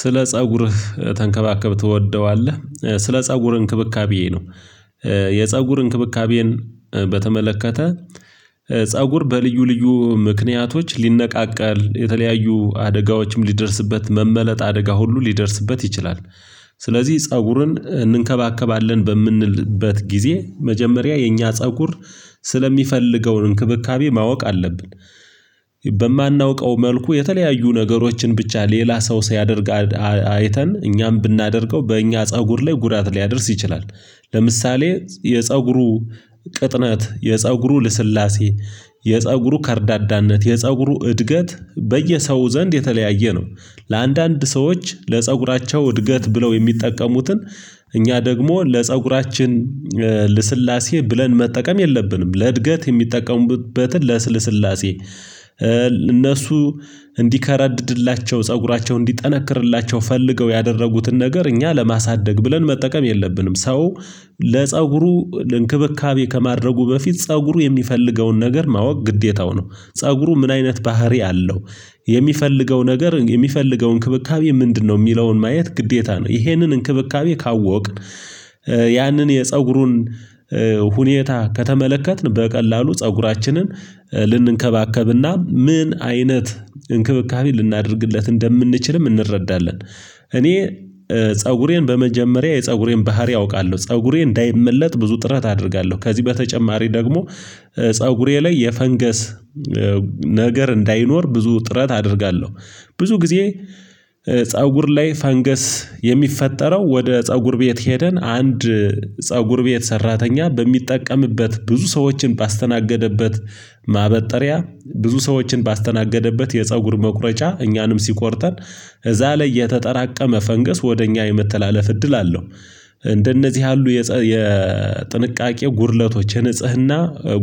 ስለ ፀጉርህ ተንከባከብ ተወደዋለህ ስለ ፀጉር እንክብካቤ ነው። የፀጉር እንክብካቤን በተመለከተ ፀጉር በልዩ ልዩ ምክንያቶች ሊነቃቃል የተለያዩ አደጋዎችም ሊደርስበት መመለጥ አደጋ ሁሉ ሊደርስበት ይችላል። ስለዚህ ፀጉርን እንንከባከባለን በምንልበት ጊዜ መጀመሪያ የኛ ፀጉር ስለሚፈልገውን እንክብካቤ ማወቅ አለብን። በማናውቀው መልኩ የተለያዩ ነገሮችን ብቻ ሌላ ሰው ሲያደርግ አይተን እኛም ብናደርገው በእኛ ፀጉር ላይ ጉዳት ሊያደርስ ይችላል። ለምሳሌ የፀጉሩ ቅጥነት የፀጉሩ ልስላሴ የፀጉሩ ከርዳዳነት የፀጉሩ እድገት በየሰው ዘንድ የተለያየ ነው። ለአንዳንድ ሰዎች ለፀጉራቸው እድገት ብለው የሚጠቀሙትን እኛ ደግሞ ለፀጉራችን ልስላሴ ብለን መጠቀም የለብንም ለእድገት የሚጠቀሙበትን ለስልስላሴ እነሱ እንዲከረድድላቸው ፀጉራቸውን እንዲጠነክርላቸው ፈልገው ያደረጉትን ነገር እኛ ለማሳደግ ብለን መጠቀም የለብንም። ሰው ለፀጉሩ ለእንክብካቤ ከማድረጉ በፊት ፀጉሩ የሚፈልገውን ነገር ማወቅ ግዴታው ነው ፀጉሩ ምን አይነት ባህሪ አለው የሚፈልገው ነገር የሚፈልገው እንክብካቤ ምንድነው የሚለውን ማየት ግዴታ ነው። ይሄንን እንክብካቤ ካወቅን ያንን የፀጉሩን ሁኔታ ከተመለከትን በቀላሉ ፀጉራችንን ልንከባከብና ምን አይነት እንክብካቤ ልናደርግለት እንደምንችልም እንረዳለን። እኔ ፀጉሬን በመጀመሪያ የፀጉሬን ባህሪ አውቃለሁ ፀጉሬ እንዳይመለጥ ብዙ ጥረት አደርጋለሁ ከዚህ በተጨማሪ ደግሞ ፀጉሬ ላይ የፈንገስ ነገር እንዳይኖር ብዙ ጥረት አደርጋለሁ። ብዙ ጊዜ ፀጉር ላይ ፈንገስ የሚፈጠረው ወደ ፀጉር ቤት ሄደን አንድ ፀጉር ቤት ሰራተኛ በሚጠቀምበት ብዙ ሰዎችን ባስተናገደበት ማበጠሪያ ብዙ ሰዎችን ባስተናገደበት የፀጉር መቁረጫ እኛንም ሲቆርጠን እዛ ላይ የተጠራቀመ ፈንግስ ወደ እኛ የመተላለፍ እድል አለው። እንደነዚህ ያሉ የጥንቃቄ ጉድለቶች ንጽህና